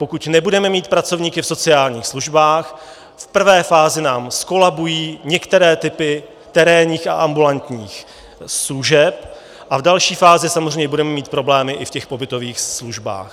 Pokud nebudeme mít pracovníky v sociálních službách, v prvé fázi nám zkolabují některé typy terénních a ambulantních služeb a v další fázi samozřejmě budeme mít problémy i v těch pobytových službách.